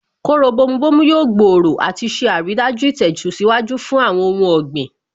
Kóró bomu bomu yóò gbòòrò àti ṣe àrídájú ìtẹ̀síwájú fún ohun ọ̀gbìn